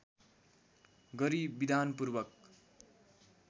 गरी विधानपूर्वक